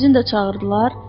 Zəncini də çağırdılar.